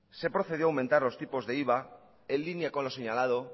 se procedió a aumentar los tipos de iva en línea con lo señalado